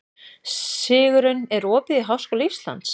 Sigurunn, er opið í Háskóla Íslands?